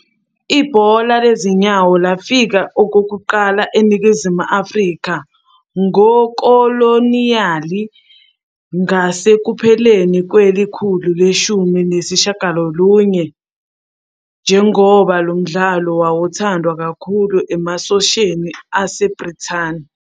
Ekhulwini lama-21, ukusetshenziswa kwamanye amasu wokugqwayiza kukhawulelwe kumafilimu amafushane azimele, kufaka phakathi umsebenzi wokugqwayiza onodoli wokuma owenziwe nguTadahito Mochinaga, Kihachirō Kawamoto noTomoyasu Murata.